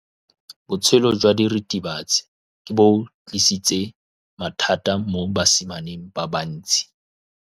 Botshelo jwa diritibatsi ke bo tlisitse mathata mo basimaneng ba bantsi.